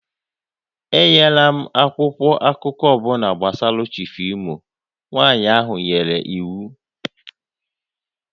Enyela m akwụkwọ akụkọ ọ bụla gbasara Chif Imo! Nwanyị ahụ nyere iwu